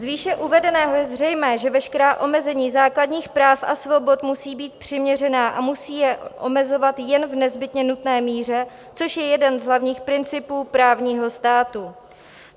Z výše uvedeného je zřejmé, že veškerá omezení základních práv a svobod musí být přiměřená a musí je omezovat jen v nezbytně nutné míře, což je jeden z hlavních principů právního státu.